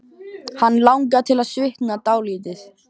Hann langar til að svitna dálítið.